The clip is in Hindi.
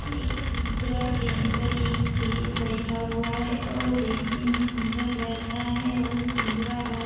एक पिंजरा के अंदर एक शेर बैठा हुआ है और देखने में सुंदर लग रहा है और पिंजरा बहुत --